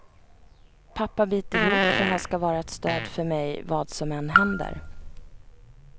Pappa biter ihop, för han ska vara ett stöd för mig vad som än händer.